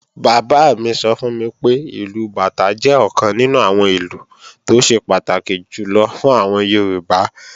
Bàbá mi sọ fún mi pé, ìlù bàtá jẹ́ ọ̀kan nínú àwọn ìlù tó ṣe pàtàkì jùlọ fún àwọn Yorùbá